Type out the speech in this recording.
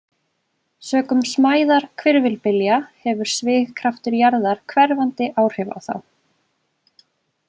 Sökum smæðar hvirfilbylja hefur svigkraftur jarðar hverfandi áhrif á þá.